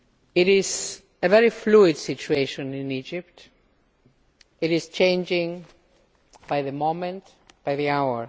It is a very fluid situation in Egypt. It is changing by the moment, by the hour.